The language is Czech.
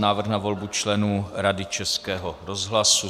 Návrh na volbu členů Rady Českého rozhlasu